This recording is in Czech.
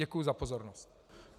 Děkuji za pozornost.